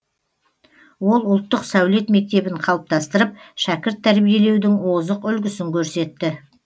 ол ұлттық сәулет мектебін қалыптастырып шәкірт тәрбиелеудің озық үлгісін көрсетті